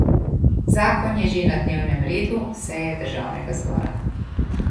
Zakon je že na dnevnem redu seje državnega zbora.